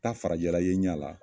Taa farajɛ ye n ɲɛ la